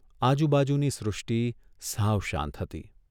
આજુબાજુની સૃષ્ટિ સાવ શાંત હતી.